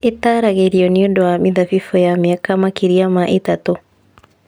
Ĩtaaragĩrio nĩ ũndũ wa mĩthabibũ ya mĩaka makĩria ma ĩtatũ